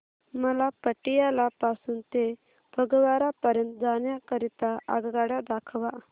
मला पटियाला पासून ते फगवारा पर्यंत जाण्या करीता आगगाड्या दाखवा